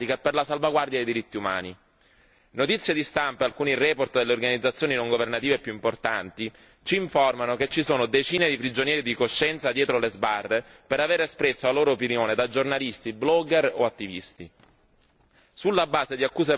Notizie di stampa e alcuni rapporti delle organizzazioni non governative più importanti ci informano che ci sono decine di prigionieri di coscienza dietro le sbarre per avere espresso la loro opinione da giornalisti, blogger o attivisti, sulla base di accuse pretestuose e soprattutto senza un giusto processo.